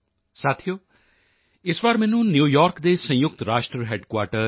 ਸਾਥੀਓ ਇਸ ਵਾਰ ਮੈਨੂੰ ਨਿਊਯਾਰਕ ਦੇ ਸੰਯੁਕਤ ਰਾਸ਼ਟਰ ਹੈੱਡਕੁਆਰਟਰ ਯੂ